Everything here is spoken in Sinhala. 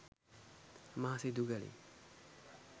මා සිදු කළේ